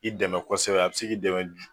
I dɛmɛ kɔsɛbɛ a be se k'i dɛmɛ